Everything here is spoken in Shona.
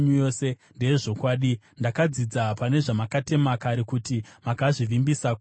Ndakadzidza pane zvamakatema kare, kuti makazvisimbisa kuti zvigare nokusingaperi.